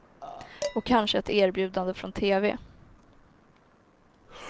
Och kanske ett erbjudande från tv.